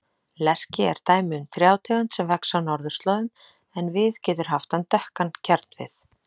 Lerki er dæmi um trjátegund sem vex á norðurslóðum en getur haft dökkan kjarnvið.